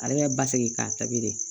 Ale bɛ basigi k'a tabi de